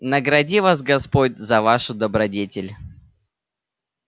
награди вас господь за вашу добродетель